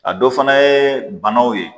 A dɔ fana ye banaw ye